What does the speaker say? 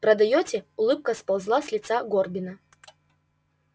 продаёте улыбка сползла с лица горбина